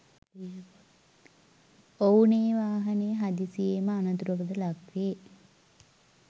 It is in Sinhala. ඔවුනේ වාහනය හදිසියේම අනතුරකට ලක් වේ.